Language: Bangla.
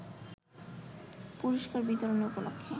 পুরষ্কার বিতরণী উপলক্ষে